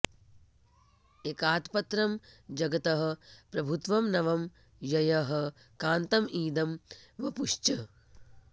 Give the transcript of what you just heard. एकातपत्रं जगतः प्रभुत्वं नवं ययः कान्तं इदं वपुश्च